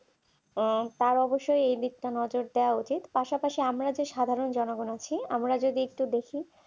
তার অবশ্যই দেয়া উচিত পাশাপাশি আমরা যে সাধারণ জনগণ আছি আমরা যদি একটু দেখি